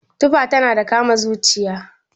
Tufa tana kama da zuciya